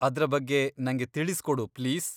ಅದ್ರ ಬಗ್ಗೆ ನಂಗೆ ತಿಳಿಸ್ಕೊಡು ಪ್ಲೀಸ್.